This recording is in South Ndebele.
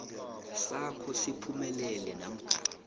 sakho siphumelele namkha